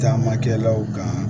Taamakɛlaw kan